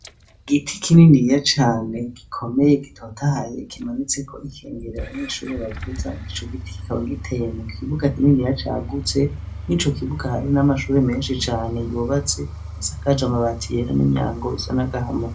Igiti kininiya cane gikomeye gitotahaye kimanitseko ikengeri abanyeshure bavuza. Ico giti kikaba giteye mu kibuga kininiya cagutse n'ico kibuga hari n'amashuri menshi cane yubatse asakaje amabati yera n'imyango isa n'agahama.